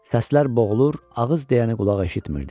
Səslər boğulur, ağız deyəni qulaq eşitmirdi.